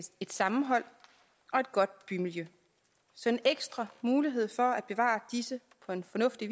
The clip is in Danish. et sammenhold og et godt bymiljø så en ekstra mulighed for at bevare disse på en fornuftig